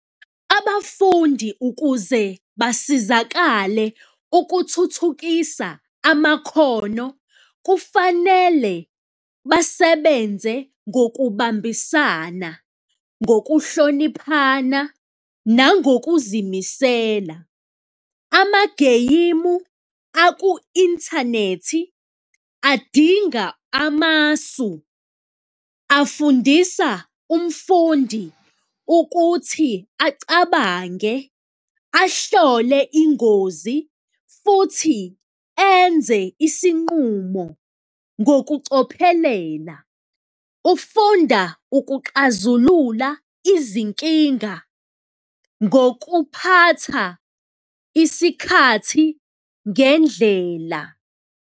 Abafundi ukuze basizakale ukuthuthukisa amakhono, kufanele basebenze ngokubambisana, ngokuhloniphana nangokuzimisela. Amageyimu aku-inthanethi adinga amasu, afundisa umfundi ukuthi acabange, ahlole ingozi futhi enze isinqumo ngokucophelela, ufunda ukuxazulula izinkinga ngokuphatha isikhathi ngendlela.